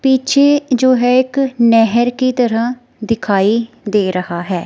पीछे जो है एक नहर की तरह दिखाई दे रहा है।